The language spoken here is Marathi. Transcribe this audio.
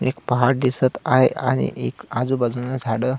एक पहाड दिसत आहे आणि एक आजूबाजून झाड--